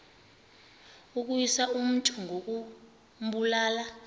ukuwisa umntu ngokumbulala